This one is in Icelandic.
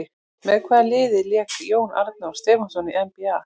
Með hvaða liði lék Jón Arnór Stefánsson í NBA?